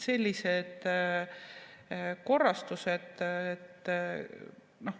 Sellised korrastused.